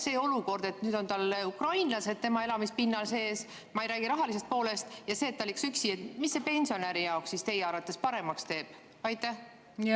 See olukord, et nüüd on tal ukrainlased tema elamispinnal – ma ei räägi rahalisest poolest –, ja see, et ta elaks üksi, mis see pensionäri jaoks siis teie arvates paremaks teeb?